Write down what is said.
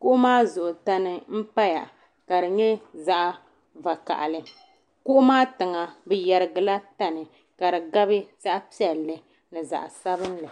Kuɣu maa Zuɣu tani mpaya ka di nyɛ zaɣi vakahili kuɣu maa tiŋa bi yɛrigi la tani ka di gabi zaɣi piɛlli ni zaɣi sabinli.